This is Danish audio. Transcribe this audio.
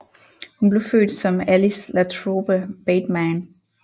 Hun blev født som Alice LaTrobe Bateman